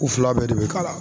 U fila bɛɛ de bi k'a la